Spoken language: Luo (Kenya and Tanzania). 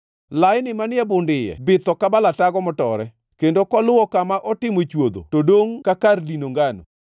Laini manie bund iye bitho ka balatago motore, kendo koluwo kama otimo chwodho to dongʼ ka kar dino ngano.